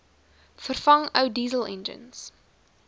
vervang ou dieselenjins